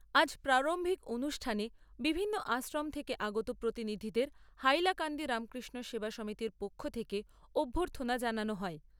আজ প্রারম্ভিক অনুষ্ঠানে বিভিন্ন আশ্রম থেকে আগত প্রতিনিধিদের হাইলাকান্দি রামকৃষ্ণ সেবা সমিতির পক্ষ থেকে অভ্যর্থনা জানানো হয়।